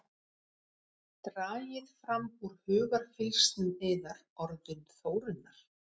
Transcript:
Dragið fram úr hugarfylgsnum yðar orðin Þórunnar.